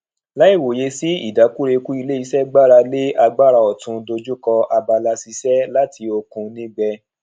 láì wòye sí idakureku ilé iṣé gbára lé agbára òtun dojú kọ abala ṣiṣe láti òkun nígbẹ